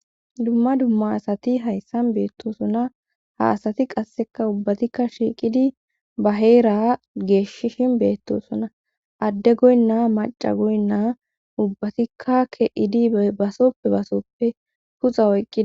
dumma dumma asati hayssan beettosona ha asati qasseka ubbatikka shiiqidi ba heera geeshishin beettosonna adde goynna maca goynnaa ubbatikka ke7idi basoppe basoppe puxa oyqqi